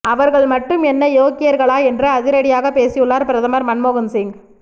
அவர்கள் மட்டும் என்ன யோக்கியர்களா என்று அதிரடியாகப் பேசியுள்ளார் பிரதமர் மன்மோகன் சிங்